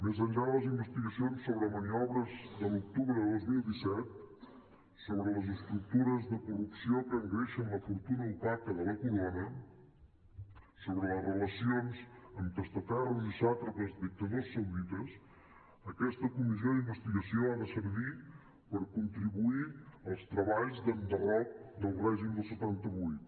més enllà de les investigacions sobre maniobres de l’octubre de dos mil disset sobre les estructures de corrupció que engreixen la fortuna opaca de la corona sobre les relacions amb testaferros i sàtrapes dictadors saudites aquesta comissió d’investigació ha de servir per contribuir als treballs d’enderroc del règim del setanta vuit